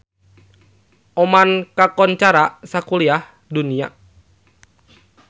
Oman kakoncara sakuliah dunya